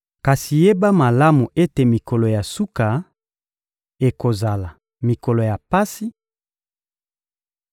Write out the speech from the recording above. Kasi yeba malamu ete mikolo ya suka ekozala mikolo ya pasi: